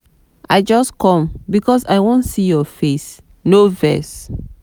i just com because i wan see your face no vex.